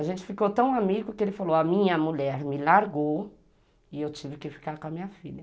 A gente ficou tão amigo que ele falou, a minha mulher me largou e eu tive que ficar com a minha filha.